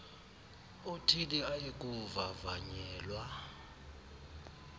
othile aye kuvavanyelwa